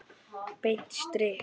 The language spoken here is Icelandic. Beint strik!